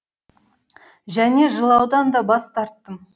және жылаудан да бас тарттым